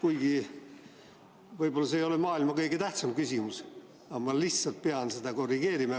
See võib-olla ei ole maailma kõige tähtsam küsimus, aga ma lihtsalt pidin seda korrigeerima.